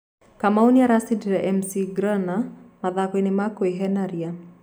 Kamau ni aracindire McGrenor mathakoini ma kuehenaria.